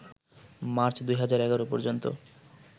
March ২০১১ পর্যন্ত